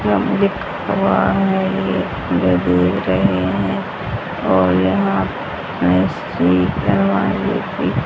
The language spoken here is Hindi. हुआ है ये रहे हैं और यहां ।